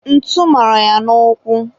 ntu mara ya n'ụkwụ